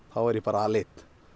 þá var ég aleinn